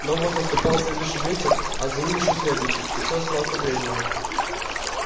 но вот наступал следующий вечер а за ним ещё следующий и все оставалось по-прежнему